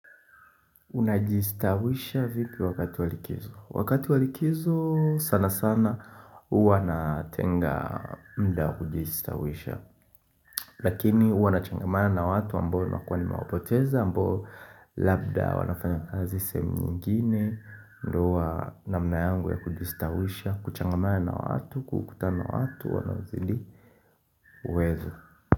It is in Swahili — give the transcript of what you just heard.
Unaji stawishi vipi wakati walikizo Wakati walikizo sana sana huwa natenga muda kujistawisha Lakini huwa nachangamana na watu ambao nimekuwa nimewa poteza ambao labda wanafanya kazi sehemu nyingine ndio huwa namna yangu ya kujistawisha kuchangamana na watu, kukutana na watu wanazidi uwezo.